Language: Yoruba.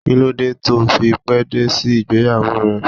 Kí ló dé to fi pé dé sí ìgbéyàwó rẹ?